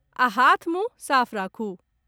आ हाथ मुंह साफ राखु।